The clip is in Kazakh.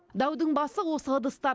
даудың басы осы ыдыстар